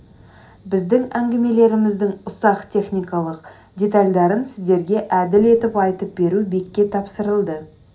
біздің әңгімелеріміздің ұсақ техникалық детальдарын сіздерге әділ етіп айтып беру бекке тапсырылды